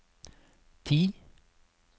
ti